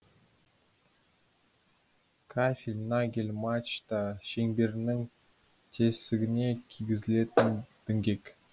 кафель нагель мачта шеңберінің тесігіне кигізілетін діңгек